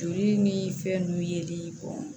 Joli ni fɛn nunnu yeli bɔn